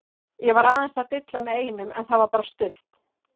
Ég var aðeins að dilla með einum en það var bara stutt.